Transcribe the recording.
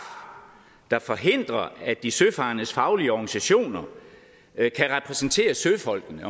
der forhindrer at de søfarendes faglige organisationer kan repræsentere søfolkene